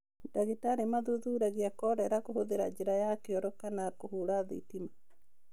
Ndagĩtarĩ mathuthuragia kolera kũhũthĩra njĩra ya kĩoro kana kũhũra thitima.